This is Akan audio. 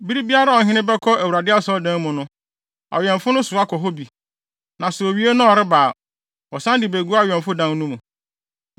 Bere biara a ɔhene no bɛkɔ Awurade Asɔredan no mu no, awɛmfo no soa kɔ hɔ bi, na sɛ owie na ɔreba a, wɔsan de begu awɛmfo dan no mu.